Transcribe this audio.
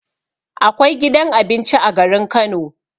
Akwai gidan abinci a garin Kano